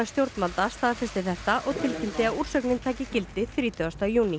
stjórnvalda staðfesti þetta og tilkynnti að úrsögnin tæki gildi þrítugasta júní